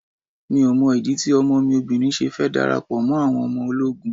Mi ò mọ ìdí tí ọmọ mi obìnrin ṣe fẹ́ darapọ̀ mọ́ àwọn ọmọ ológun.